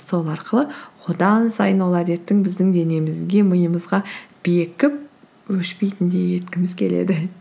сол арқылы одан сайын ол әдеттің біздің денемізге миымызға бекіп өшпейтіндей еткіміз келеді